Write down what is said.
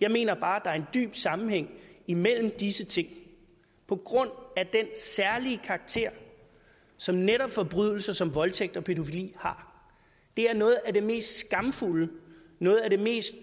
jeg mener bare der er en dyb sammenhæng imellem disse ting på grund af den særlige karakter som netop forbrydelser som voldtægt og pædofili har det er noget af det mest skamfulde noget af det mest